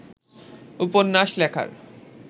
উপন্যাস লেখার